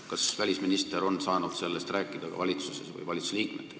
Kas välisminister on sellest valitsuses või meie valitsuse liikmetega rääkida saanud?